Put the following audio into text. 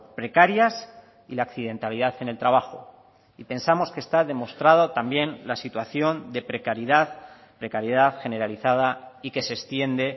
precarias y la accidentalidad en el trabajo y pensamos que está demostrada también la situación de precariedad precariedad generalizada y que se extiende